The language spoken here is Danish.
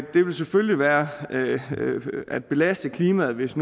det vil selvfølgelig være at belaste klimaet hvis